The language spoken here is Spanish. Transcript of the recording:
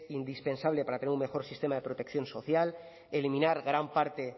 indispensable para tener un mejor sistema de protección social eliminar gran parte